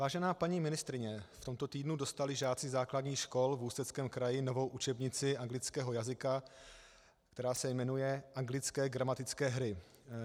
Vážená paní ministryně, v tomto týdnu dostali žáci základních škol v Ústeckém kraji novou učebnici anglického jazyka, která se jmenuje Anglické gramatické hry.